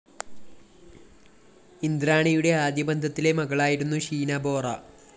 ഇന്ദ്രാണിയുടെ ആദ്യ ബന്ധത്തിലെ മകളായിരുന്നു ഷീന ബോറ